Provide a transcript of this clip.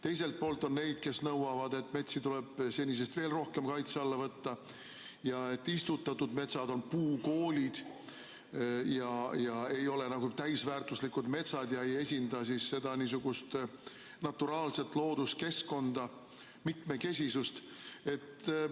Teiselt poolt on neid, kes nõuavad, et metsi tuleb senisest veel rohkem kaitse alla võtta, ja ütlevad, et istutatud metsad on puukoolid, ei ole täisväärtuslikud metsad ja ei esinda niisugust naturaalset looduskeskkonda, mitmekesisust.